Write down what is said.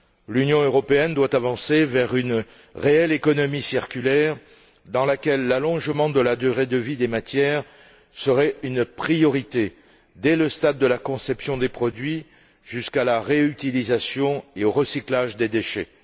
L'Union européenne doit avancer vers une réelle économie circulaire, dans laquelle l'allongement de la durée de vie des matières serait une priorité, dès le stade de la conception des produits et jusqu'à la réutilisation et au recyclage des déchets.